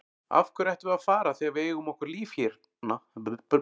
Af hverju ættum við að fara þegar við eigum okkar líf hérna?